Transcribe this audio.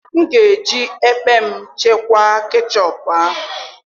M ga eji ekpem chekwaa kechọpụ ahụ.